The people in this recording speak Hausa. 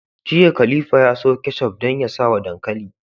Jiya khalifa ya siyo ketchup dan ya sawa dankali